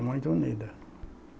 Muito unida.